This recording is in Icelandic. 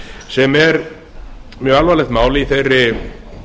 sem er mjög alvarlegt mál í þeirri